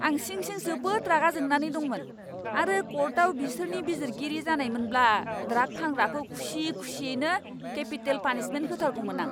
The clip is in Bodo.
आं सिं सिं जोबोद रागा जोंनानै दंमोन आरो कर्टआव बिसोरनि बिजिरगिरि जानायमोनब्ला ड्राग फानग्राखौ खुसि खुसियैनो केपिटेल पानिशमेन्ट होथारगौमोन आं।